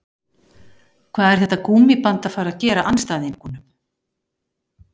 Hvað er þetta gúmmíband að fara að gera andstæðingunum?